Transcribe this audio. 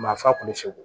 Maa fa kun bɛ segu